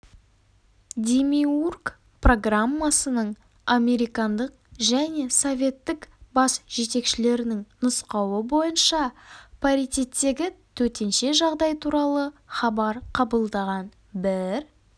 демиург программасының американдық және советтік бас жетекшілерінің нұсқауы бойынша паритеттегі төтенше жағдай туралы хабар қабылдаған бір